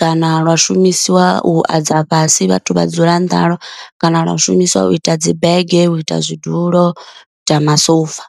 kana lwa shumisiwa u adza fhasi vhathu vha dzula nṱha halwo kana lwa shumisiwa u ita dzi bege, u ita zwidulo, u ta masofa.